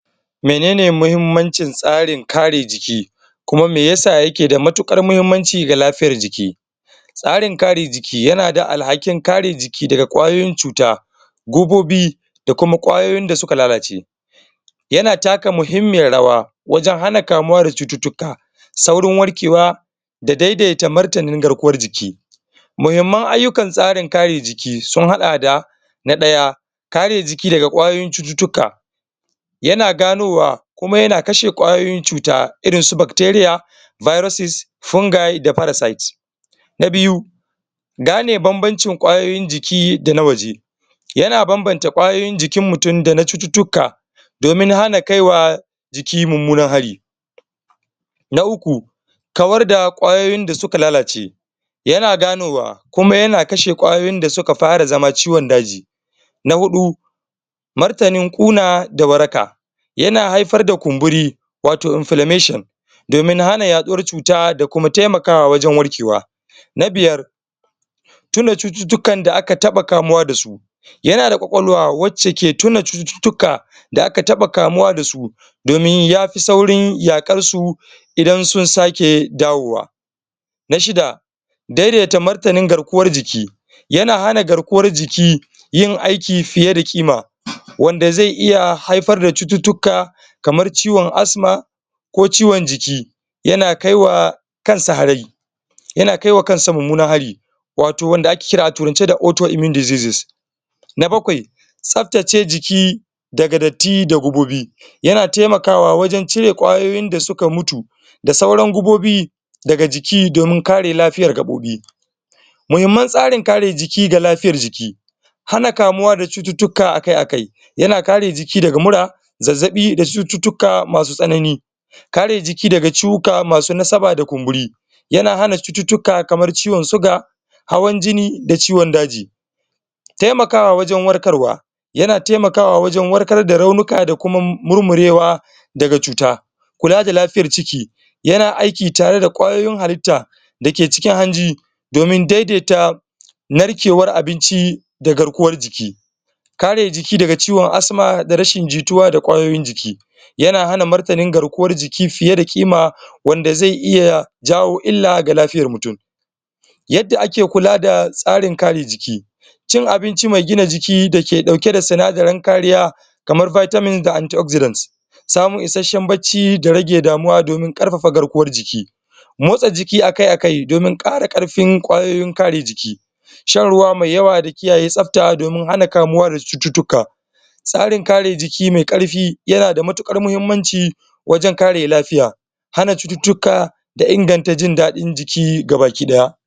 Menene mahimmancin tsarin kare jiki kuma me yasa yake da mutukar muhimmanci ga lafiyar jiki tsarin kare jiki yana da alhakin kare jiki daga kwayoyin cuta gubobi da kuma kwayoyin da suka lalace yana taka muhimmiyar rawa wajan hana kamuwa da cuttutuka saurin warkewa da daidaita martanin garkuwan jiki muhimman ayyukan tsarin kare jiki su haɗa da na ɗaya kare jiki daga kwayoyin cuttutuka yana ganowa kuma yana kashe ƙwayoyin cuta irin su Bacteria viruses fungal da parasites na biyu gane banbancin ƙwayoyin jiki dana waje yana banbanta ƙwayoyin jikin mutum dana cuttutuka domin hana kaiwa jiki mumunan hari na uku kawar da ƙwayoyin da suka lalace yana ganowa kuma yana kashe ƙwayoyin da suka fara zama ciwon daji na huɗu martanin ƙuna da warka yana haifar da kumburi wato inflammation domin hana yaɗuwar cuta da kuma taimakawa wajan warkewa na biyar tuna cututukan da aka taba kamuwa da su yana da kwakwalwa wace ke tuna cuttutuka da aka taba kamuwa dasu domin yafi saurn yakarsu idan sun sake dawowa na shida daidaita martanin garkuwan jik yana hana garkuwan jiki yin aiki fiye da kima wanda ze iya haifar da cuttutuka kamar ciwon asma ko ciwon jiki yana kai wa kansa hari yana kai wa kansa mumunar hari wato wanda ake kira a turance da auto immune diseases na bakwai tsaftace jiki daga dati da gubobi yana taimakawa wajan cire kwayoyin da suka mutu da sauran gubobi daga jiki domin kare lafiyar gaɓobi muhimman tsare kare jiki ga lafiyar jiki hana kamuwa da cuttutuka akai-akai yana kare jiki daga mura zazzabi da cuttutuka masu tsanani kare jiki daga cuwuka masu na sama da kumburi yana hana cuttutuka kamar ciwon suga hawan jini da ciwon daji taimakawa wajan warkarwa yana taimakawa wajan warkar da raunika da kuma murmurewa daga cuta kula da lafiyar ciki yana aiki tare da kwayoyin hallita dake cikin hanji domin daidaita narkewar abinci da garkuwar jiki kare jiki daga ciwon asma da rashin jituwa da kwayoyin jiki yana hana martanin garkuwan jiki fiye da kima wanda ze iya jawo illa ga lafiyar mutum yada ake kula da tsarin kare jiki cin abinci mai gina jiki dake dauke da sinadirin kariya kamar vitamin da antioxidant samun isheshen bacci da rage damuwa domin ƙarfafa garkuwan jiki motsa jiki akai-akai domin ƙara karfin kwayoyin kare jiki shan ruwa mai yawwa da kiyaye tsafta domin hana kamuwa da cuttutuka tsarin kare jiki mai ƙarfi yana da mutukar muhimmanci wajan kare lafiya hana cuttutuka da inganta jin dadin jiki gabakidaya.